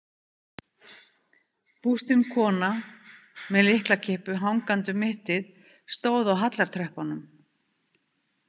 Bústin kona með lyklakippu hangandi um mittið stóð á hallartröppunum.